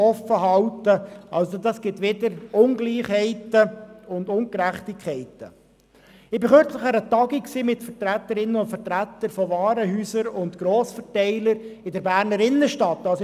Ich bin kürzlich an einer Tagung mit Vertreterinnen und Vertretern von Warenhäusern und Grossverteilern in der Berner Innenstadt gewesen.